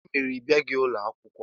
Gịnị mere ị bịaghị ụlọ akwụkwọ?